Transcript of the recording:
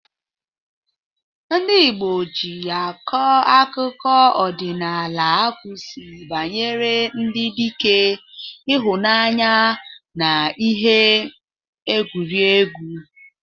Ndị Igbo ji akọ akụkọ ọdịnala akụzi banyere ndị dike, ịhụnanya, na ihe egwuregwu.